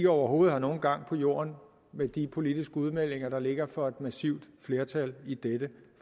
overhovedet har nogen gang på jorden med de politiske udmeldinger der ligger fra et massivt flertal i dette